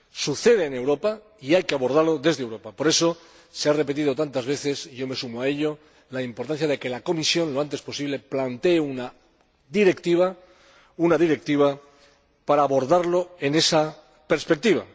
Sucede en Europa y hay que abordarlo desde Europa, por eso se ha repetido tantas veces, y yo me sumo a ello, la importancia de que la Comisión plantee lo antes posible una directiva para abordarlo en esa perspectiva.